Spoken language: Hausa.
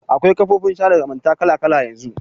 Akwai kafofin sada zumunta kala kala yanzu.